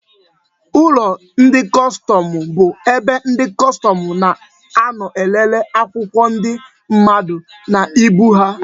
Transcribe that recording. Ụlọ ndị kọstọmụ bu ebe ndị kọstọmụ na-anọ elele akwụkwọ ndị mmadụ na ibu ha